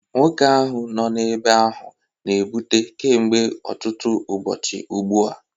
Nwoke ahụ nọ n'ebe ahụ na-ebute kemgbe ọtụtụ ụbọchị ugbu a